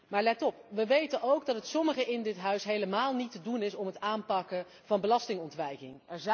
Maar let op wij weten ook dat het sommigen in dit huis helemaal niet te doen is om het aanpakken van belastingontwijking.